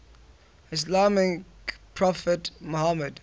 islamic prophet muhammad